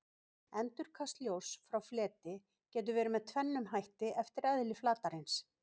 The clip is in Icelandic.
Endurkast ljóss frá fleti getur verið með tvennum hætti eftir eðli flatarins.